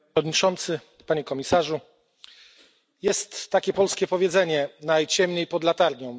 Panie Przewodniczący! Panie Komisarzu! Jest takie polskie powiedzenie Najciemniej pod latarnią.